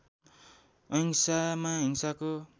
अहिंसामा हिंसाको